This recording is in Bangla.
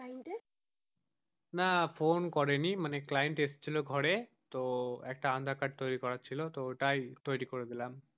না ফোন করেনি মানে client এসেছিলো ঘরে তো আধার কার্ড তৈরি করার ছিল তো ওটাই তৈরি করে দিলাম।